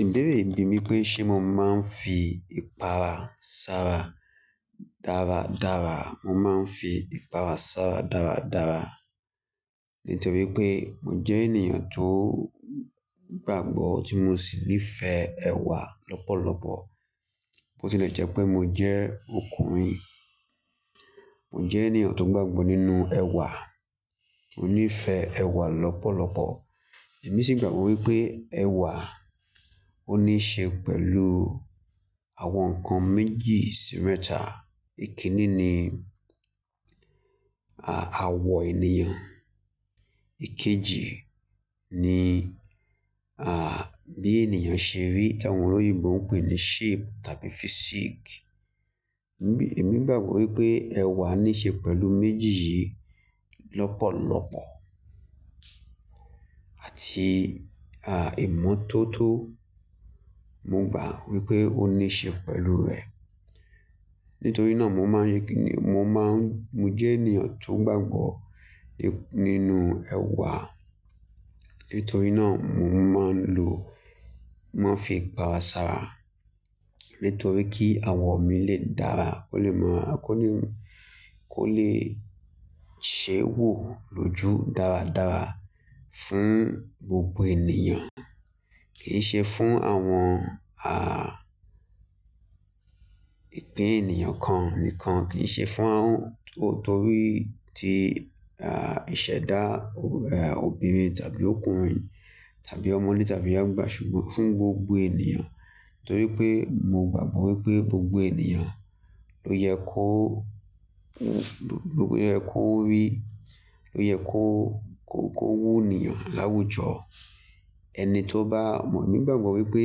Ìbéèrè mi ni pé ṣe mo máa ń fi ìpara sára dára dára? Mo máa ń fi ìpara sára dára dára nítorí pé mo jẹ́ ènìyàn tó gbàgbọ́ tí mo sì nífẹ̀ẹ́ ẹwà lọ́pọ̀lọpọ̀. Bo ti lè jẹ́ pé mo jẹ́ ọkùnrin, mo jẹ́ ènìyàn tó gbàgbọ́ nínú ẹwà, monífẹ̀ẹ́ ẹwà lọ́pọ̀lọpọ̀. Èmi sì gbàgbọ́ wípé ẹwà ó níí ṣe pẹ̀lú àwọn nǹkan méjì sí mẹ́ta. Èkiní ni, à, àwọ ènìyàn. Èkéjì ni, à, bí ènìyàn ṣe rí ti awọn lóyinbo, wọ́n ń pè ní shape tàbí physique. Èmi, èmi gbàgbọ́ wípé ẹwà ní ṣe pẹ̀lú méjì yìí lọ́pọ̀lọpọ̀ àti, à, ìmọ́tótó. Mo gbà wípé ó ní ṣe pẹ̀lú rẹ̀. Nítorí náà mo máa ń ri ki ni, mo máa ń, mo jẹ́ ènìyàn tó gbàgbọ́ ní, nínú ẹwà. Nítorí náà mo máa ń lo, máa ń fi ìpara sára nítorí kí àwọ̀ mi lè dára, kó lè máa, kó lè, kó lè ṣé wò lójú dára dára fún gbogbo ènìyàn. Kì í ṣe fún àwọn, à, ìpín ènìyàn kan nìkan, kì í ṣe fún àwọn tó, torí ti, à, ìṣẹ̀dá obìnrin tàbí ọkùnrin tàbí ọmọde tàbí àgbà ṣùgbọ́n fún gbogbo ènìyàn. Torí pé mo gbàgbọ́ wípé gbogbo ènìyàn ló yẹ kó, ló yẹ kó rí, ló yẹ kó, kó, kó mú ènìyàn láwùjọ. Ẹni tó bá, mo gbàgbọ́ wípé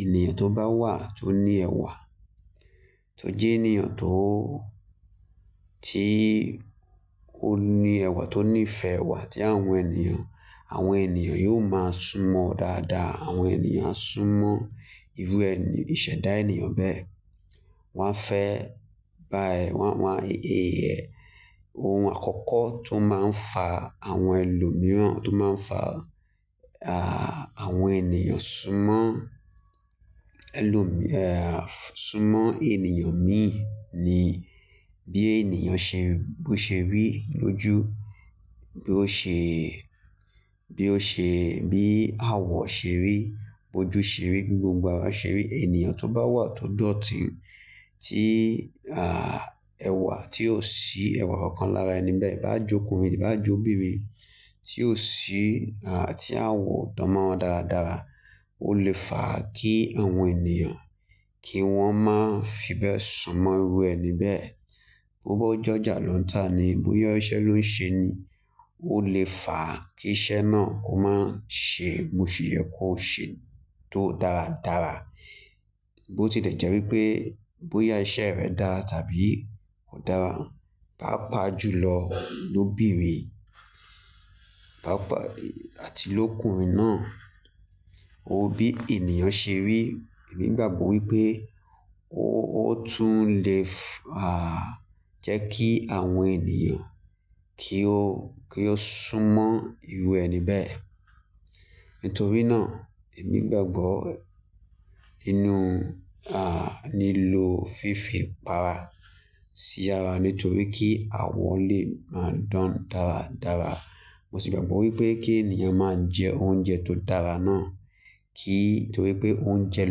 ènìyàn tó bá wà tó ní ẹwà, tó jẹ́ ènìyàn tó, tí ó ní ẹwà, tó nífẹ̀ẹ́ ẹwà tí àwọn ènìyàn, àwọn ènìyàn yóò máa súnmọ́ ọ dáadáa. Àwọn ènìyàn á súnmọ́ irú ẹni, ìṣẹ̀dá ènìyàn bẹ́ẹ̀. Wọ́n fẹ́ bá ẹ, wọ́n, wọ́n, ohun àkọ́kọ́ tó máa ń fa àwọn ẹlòmíràn, tó máa ń fa, à, àwọn ènìyàn súnmọ́ ẹlòmí, à, súnmọ́ ènìyàn mí ní bí ènìyàn ṣe, bó ṣe rí lójú, bí ó ṣe, bí ó ṣe, bí àwọ̀ ṣe rí, bójú ṣe rí, gbogbo ara ṣe rí. Ènìyàn tó bá wà tó dọ̀tí, tí, à, ẹwà tí ò sí ẹwà kankan lára ẹni bẹ́ẹ̀, bá jọkùnrin tàbí bá jẹ́ obìnrin tí ò sí, à, tí àwọ̀ ò dánmọ́rán dára dára, ó lè fà á kí àwọn èniyàn kí wọ́n má fibẹ́ súnmọ́ irú ẹni bẹ́ẹ̀. Bo bó jọjà ló ń tà ni, bóyá iṣẹ́ ló ń ṣe ni, ó lè fà á kí iṣẹ́ náà kó máa ṣe, mo sì yẹ kó ṣe tó dára dára. Bo ti lè jẹ́ wípé bóyá iṣẹ́ rẹ dára tàbí kò dára, pá pa ju lọ lóbinrin, pá pa àti lókunrin náà, ó bí ènìyàn ṣe rí. Èmi gbàgbọ́ wípé ó, ó tún lè fà á jẹ́ kí àwọn ènìyàn kí ó, kí ó súnmọ́ irú ẹni bẹ́ẹ̀. Nítorí náà èmi gbàgbọ́ nínú, à, nílò fífi ìpara sí ara nítorí kí àwọ̀ lè máa dán dára dára. Mo sì gbàgbọ́ wípé kí ènìyàn máa ń jẹ oúnjẹ tó dára náà, kí, torí pé oúnjẹ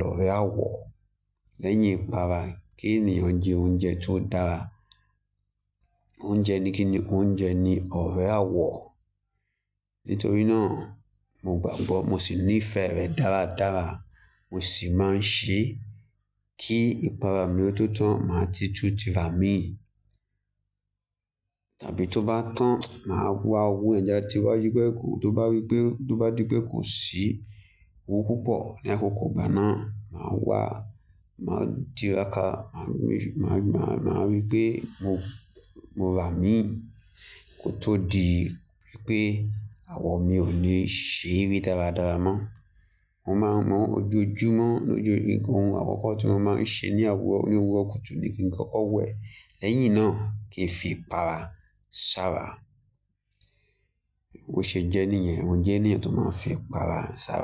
lọrẹ àwọ̀ lẹ́yìn ìpara. Kí ènìyàn jẹ oúnjẹ tó dára. Oúnjẹ ni kí ni, oúnjẹ ni ọrẹ àwọ̀. Nítorí náà mo gbàgbọ́, mo sì nífẹ̀ẹ́ rẹ dára dára. Mo sì máa ń ṣe kí ìpara mi ó tó tán, màá ti tú ti ra mi. Tàbí tó bá tán, màá wá wo ńjá tí ó bá yí pé kò, tó bá rí pé, tó bá di pé kò sí, kó púpọ̀ lẹ́kọ̀ọ̀ kó gbà náà, màá wá, màá di raka, màá rí, màá rí, màá rí pé mo, mo rà mí kó tó di wípé àwọ̀ mi ò lè ṣe ri dáradára mọ́. Mo máa ń mọ ojú ojúmọ́ lójoojúmọ́ ohun àkọ́kọ́ tí wọ́n máa ń ṣe ní àwọ̀, ní àwọ̀ kùtù ni kí nǹkan ó wẹ́. Lẹ́yìn náà kí ń fi ìpara sára. Bo ṣe jẹ́ níyẹn, mo jẹ́ ènìyàn tó máa ń fi ìpara sára.